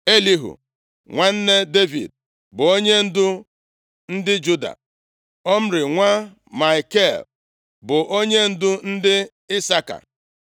Elihu nwanne Devid bụ onyendu ndị Juda; Omri nwa Maikel bụ onyendu ndị Isaka;